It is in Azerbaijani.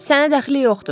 Sənə dəxli yoxdur.